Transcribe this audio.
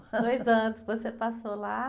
ois anos você passou lá?